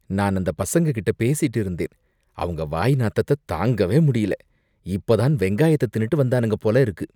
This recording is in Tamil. நான் அந்த பசங்க கிட்ட பேசிட்டு இருந்தேன். அவங்க வாய் நாத்தத்த தாங்கவே முடியல. இப்பதான் வெங்காயத்த தின்னுட்டு வந்தானுங்க போல இருக்கு.